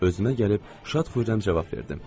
Özümə gəlib şad foyram cavab verdim.